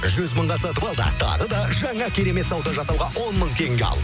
жүз мыңға сатып ал да тағы да жаңа керемет сауда жасауға он мың теңге ал